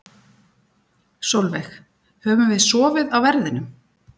Sólveig: Höfum við sofið á verðinum?